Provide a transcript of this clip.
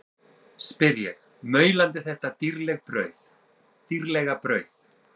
spyr ég, maulandi þetta dýrlega brauð.